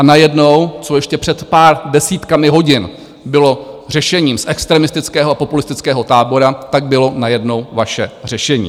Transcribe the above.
A najednou, co ještě před pár desítkami hodin bylo řešením z extremistického a populistického tábora, tak bylo najednou vaše řešení.